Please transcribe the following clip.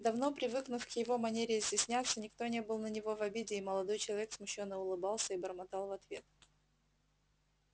давно привыкнув к его манере изъясняться никто не был на него в обиде и молодой человек смущённо улыбался и бормотал в ответ